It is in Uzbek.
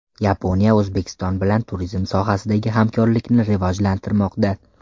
Yaponiya O‘zbekiston bilan turizm sohasidagi hamkorlikni rivojlantirmoqda.